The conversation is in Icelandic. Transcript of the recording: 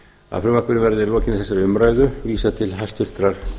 að frumvarpinu verði að lokinni þessari umræðu vísað til háttvirtrar